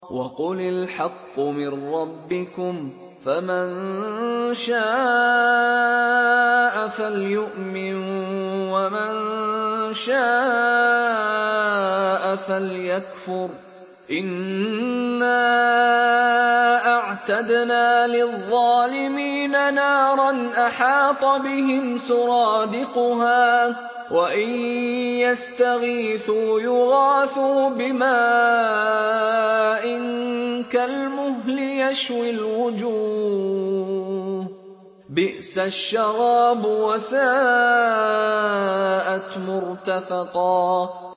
وَقُلِ الْحَقُّ مِن رَّبِّكُمْ ۖ فَمَن شَاءَ فَلْيُؤْمِن وَمَن شَاءَ فَلْيَكْفُرْ ۚ إِنَّا أَعْتَدْنَا لِلظَّالِمِينَ نَارًا أَحَاطَ بِهِمْ سُرَادِقُهَا ۚ وَإِن يَسْتَغِيثُوا يُغَاثُوا بِمَاءٍ كَالْمُهْلِ يَشْوِي الْوُجُوهَ ۚ بِئْسَ الشَّرَابُ وَسَاءَتْ مُرْتَفَقًا